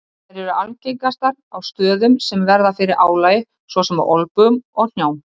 Þær eru algengastar á stöðum sem verða fyrir álagi svo sem á olnbogum og hnjám.